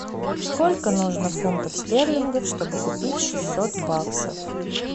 сколько нужно фунтов стерлингов чтобы купить шестьсот баксов